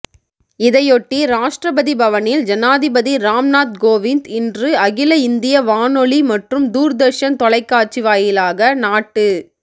இதையொட்டி ராஷ்டிரபதி பவனில் ஜனாதிபதி ராம்நாத் கோவிந்த் இன்று அகில இந்திய வானொலி மற்றும் தூர்தர்ஷன் தொலைக்காட்சி வாயிலாக நாட்டு